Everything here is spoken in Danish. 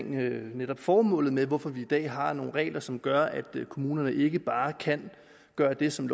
netop formålet med hvorfor vi i dag har nogle regler som gør at kommunerne ikke bare kan gøre det som